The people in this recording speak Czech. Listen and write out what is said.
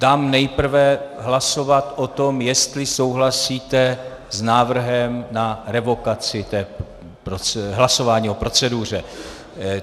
Dám nejprve hlasovat o tom, jestli souhlasíte s návrhem na revokaci toho hlasování o proceduře.